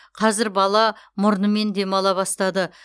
қазір бала мұрнымен демала бастады